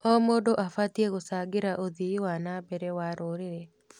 O mũndũ abatiĩ gũcangĩra ũthii wa na mbere wa rũrĩrĩ.